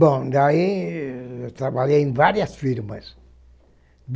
Bom, daí eu trabalhei em várias firmas.